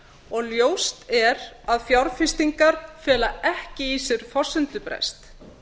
og ljóst er að fjárfestingar fela ekki í sér forsendubrest